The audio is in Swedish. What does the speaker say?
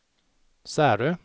Särö